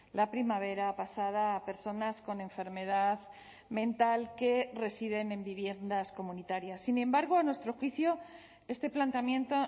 la primavera pasada a personas con enfermedad mental que residen en viviendas comunitarias sin embargo a nuestro juicio este planteamiento